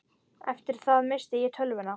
Eftir það missti ég töluna.